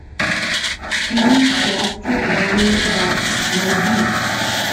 фильм страсти жанны дарк найди